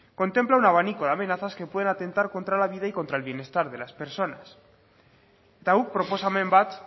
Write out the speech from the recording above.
contempla un abanico de amenazas que pueden atentar contra la vida y contra el bienestar de las personas eta guk proposamen bat